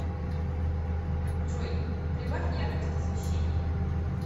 джой прибавь яркость освещения